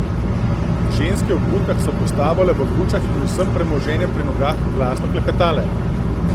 Ženske v burkah so postavale v gručah in z vsem premoženjem pri nogah glasno klepetale.